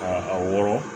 Ka a wɔrɔ